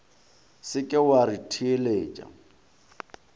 se ke wa re theletša